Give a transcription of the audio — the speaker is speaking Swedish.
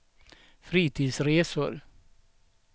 Fritidsresor